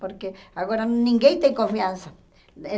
Porque agora ninguém tem confiança. Eh